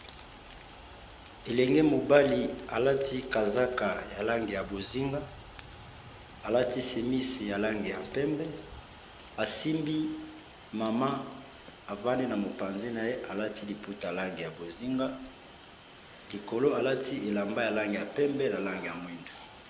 elenge mobali alati kazaka ya lange ya bozinga alati semisi ya lange ya mpembe asimbi mama avande na mopanzi na ye alati liputa lange ya bozinga likolo alati elamba ya lange ya mpembe na lange ya mwindo